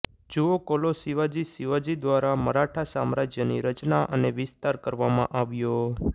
જુઓ કોલો શિવાજીશિવાજી દ્વારા મરાઠા સામ્રાજ્યની રચના અને વિસ્તાર કરવામાં આવ્યો